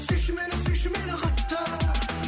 сүйші мені сүйші мені қатты